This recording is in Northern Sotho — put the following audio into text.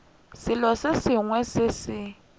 selo se sengwe se se